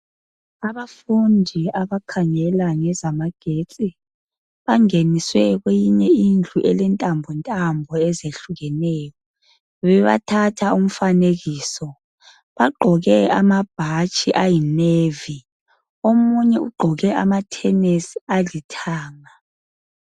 Abafundi abakhangela ngezamagetsi bangeniswe kweyinye indlu elentambo ntambo ezehlukeneyo, bebathatha umfanekiso. Bagqoke amabhatshi ayinevi. Omunye ugqoke amathenesi alithanga.